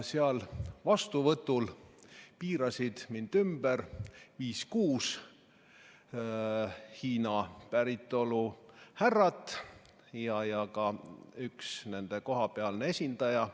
Seal vastuvõtul piirasid mind ümber viis-kuus Hiina päritolu härrat ja ka üks nende kohapealne esindaja.